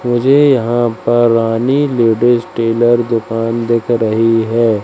मुझे यहां पर रानी लेडिस टेलर दुकान दिख रही है।